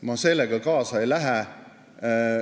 Ma sellega kaasa ei lähe.